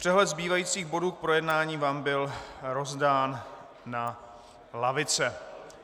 Přehled zbývajících bodů k projednání vám byl rozdán na lavice.